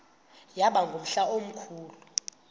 yaba ngumhla omkhulu